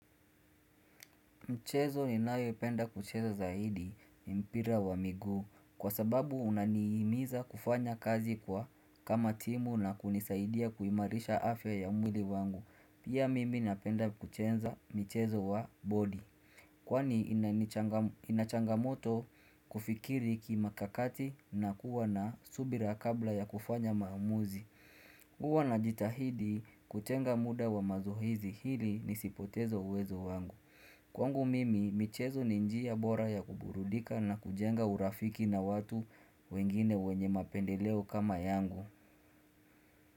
Mchezo ninayopenda kucheza zaidi ni mpira wa miguu kwa sababu unanihimiza kufanya kazi kwa kama timu na kunisaidia kuimarisha afya ya mwili wangu. Pia mimi napenda kucheza mchezo wa body. Kwani inachangamoto kufikiri kimakakati na kuwa na subira kabla ya kufanya maamuzi. hUwa najitahidi kutenga muda wa mazoezi ili nisipoteze uwezo wangu. Kwangu mimi michezo ni njia bora ya kuburudika na kujenga urafiki na watu wengine wenye mapendeleo kama yangu.